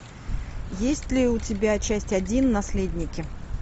есть ли у тебя часть один наследники